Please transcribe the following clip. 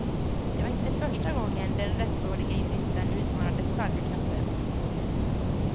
Det var inte första gången den rättrådige juristen utmanade starka krafter.